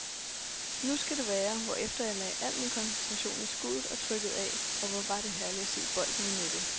Nu skal det være, hvorefter jeg lagde al min koncentration i skuddet og trykkede af, og hvor var det herligt at se bolden i nettet.